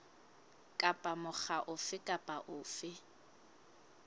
kapa mokga ofe kapa ofe